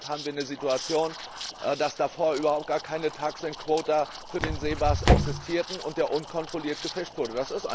Deshalb haben wir eine Situation, dass davor überhaupt gar keine TACs and quota für den Seebarsch existierten und er unkontrolliert gefischt wurde.